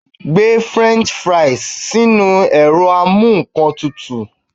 Gbe french fries si inu ero amu--nnkan-tutu